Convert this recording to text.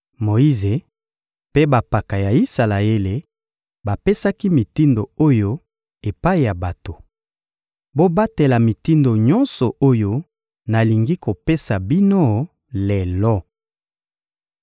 Moyize mpe bampaka ya Isalaele bapesaki mitindo oyo epai ya bato: «Bobatela mitindo nyonso oyo nalingi kopesa bino lelo.